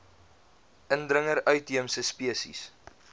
indringer uitheemse spesies